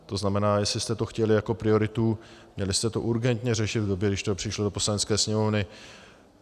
To znamená, jestli jste to chtěli jako prioritu, měli jste to urgentně řešit v době, když to přišlo do Poslanecké sněmovny.